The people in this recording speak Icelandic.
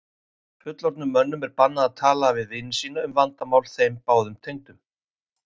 Fullorðnum mönnum er bannað að tala við vini sína um vandamál þeim báðum tengdum?